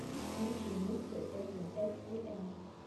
включи миксы эфлин экс ти эм